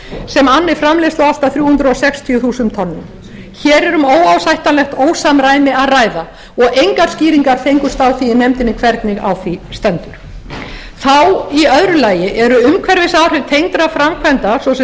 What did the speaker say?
sem anni framleiðslu allt að þrjú hundruð sextíu þúsund tonnum hér er um óásættanlegt ósamræmi að ræða og engar skýringar fengust á því í nefndinni hvernig á því stendur þá í öðru lagi eru umhverfisáhrif tengdra framkvæmda svo sem